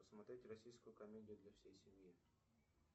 посмотреть российскую комедию для всей семьи